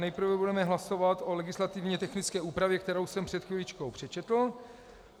Nejprve budeme hlasovat o legislativně technické úpravě, kterou jsem před chviličkou přečetl.